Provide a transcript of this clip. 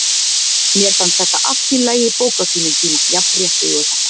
Mér fannst þetta allt í lagi bók á sínum tíma- jafnréttið og þetta.